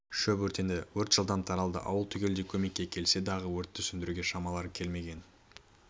шөп өртенді өрт жылдам таралды ауыл түгелдей көмекке келсе дағы өртті сөндіруге шамалары келмеген